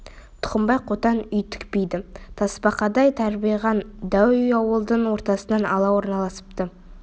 тұқымбай қотан үй тікпейді тасбақадай тарбиған дәу үй ауылдың ортасын ала орналасыпты